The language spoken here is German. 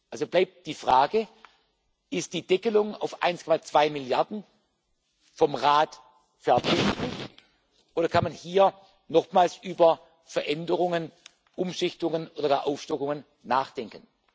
Also bleibt die Frage Ist die Deckelung auf 1,2 Milliarden vom Rat vebindlich, oder kann man hier nochmals über Veränderungen, Umschichtungen oder Aufstockungen nachdenken?